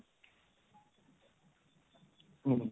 হম